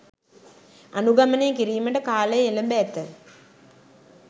අනුගමනය කිරීමට කාලය එළැඹ ඇත